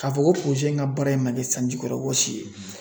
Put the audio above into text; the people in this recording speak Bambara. K'a fɔ ko in ka baara in ma kɛ sanji kɔrɔ wɔsi ye .